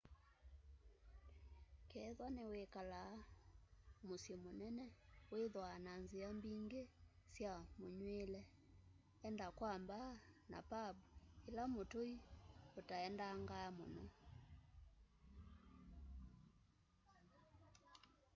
kethwa niwikalaa musyi munene withwaa na nzia mbingi sya munywiile enda kwa mbaa na pambu ila mutui utaendangaa muno